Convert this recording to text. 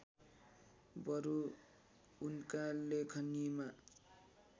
बरु उनका लेखनीमा